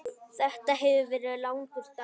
Þetta hefur verið langur dagur.